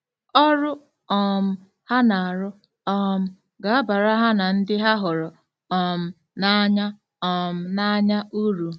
Ọrụ um ha na-arụ um ga-abara ha na ndị ha hụrụ um n’anya um n’anya uru.